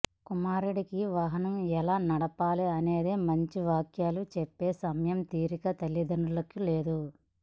కుమారుడికి వాహనం ఎలా నడపాలి అనే మంచి వాక్యాలు చెప్పే సమయం తీరిక తల్లిదండ్రులకు లేదు